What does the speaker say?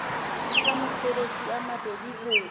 nka matsatsi a mabedi ho